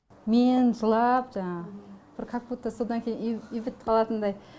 мен жылап жаңағы бір как будто содан кейін үй бітіп қалатындай